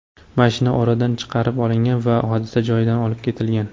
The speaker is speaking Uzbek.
Mashina o‘radan chiqarib olingan va hodisa joyidan olib ketilgan.